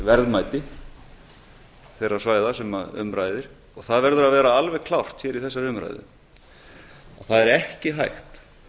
verðmæti þeirra svæða sem um ræðir og það verður að vera alveg klárt hér í þessari umræðu að það er ekki hægt